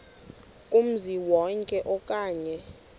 kumzi wonke okanye